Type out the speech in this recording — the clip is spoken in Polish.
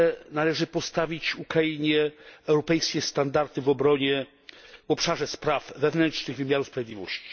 Należy także postawić Ukrainie europejskie standardy w obszarze spraw wewnętrznych, wymiaru sprawiedliwości.